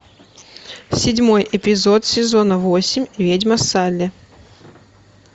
седьмой эпизод сезона восемь ведьма салли